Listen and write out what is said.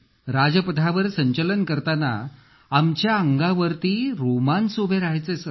राजपथावर संचलन करताना आमच्या अंगावर रोमांच उभे राहायचे सर